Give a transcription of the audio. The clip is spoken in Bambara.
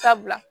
Sabula